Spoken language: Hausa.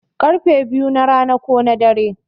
Karfe biyu na rana ko na dare